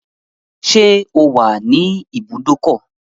Ṣẹ́ o wà ní ibùdókọ̀?